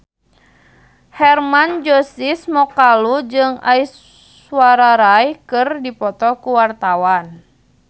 Hermann Josis Mokalu jeung Aishwarya Rai keur dipoto ku wartawan